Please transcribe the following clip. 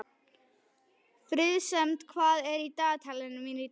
Friðsemd, hvað er í dagatalinu mínu í dag?